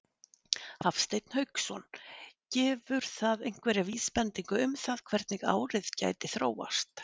Hafsteinn Hauksson: Gefur það einhverja vísbendingu um það hvernig árið gæti þróast?